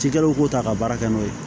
Cikɛlaw k'o ta ka baara kɛ n'o ye